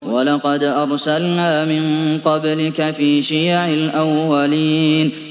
وَلَقَدْ أَرْسَلْنَا مِن قَبْلِكَ فِي شِيَعِ الْأَوَّلِينَ